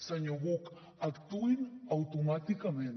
senyor buch actuïn automàticament